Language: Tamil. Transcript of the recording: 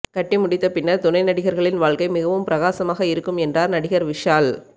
கட்டி முடித்த பின்னர் துணை நடிகர்களின் வாழ்க்கை மிகவும் பிரகாசமாக இருக்கும் என்றார் நடிகர் விஷால்